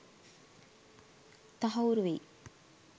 තහවුරු වෙයි.